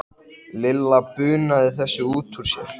Lilla bunaði þessu út úr sér.